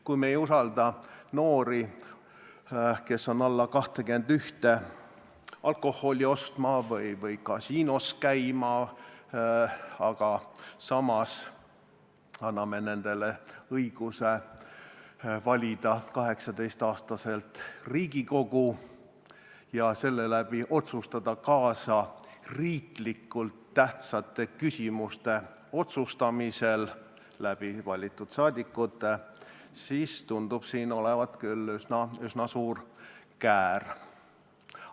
Kui me ei usalda noori, kes on alla 21, alkoholi ostma või kasiinos käima, aga samas anname neile õiguse valida 18-aastaselt Riigikogu ja sel moel rahvasaadikute kaudu rääkida kaasa riiklikult tähtsate küsimuste otsustamisel, siis tunduvad siin küll olevat üsna suured käärid.